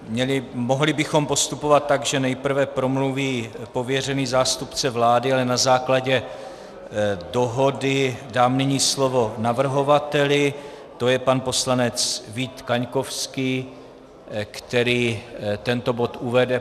Mohli bychom postupovat tak, že nejprve promluví pověřený zástupce vlády, ale na základě dohody dám nyní slovo navrhovateli, to je pan poslanec Vít Kaňkovský, který tento bod uvede.